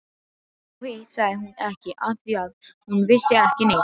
Og hitt sagði hún ekki afþvíað hún vissi ekki neitt.